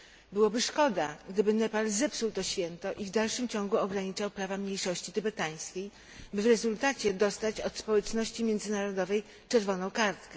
Byłoby szkoda, gdyby Nepal zepsuł to święto, i w dalszym ciągu ograniczał prawa mniejszości tybetańskiej, by w rezultacie dostać od społeczności międzynarodowej czerwoną kartkę.